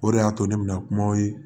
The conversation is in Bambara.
O de y'a to ne bɛna kumaw ye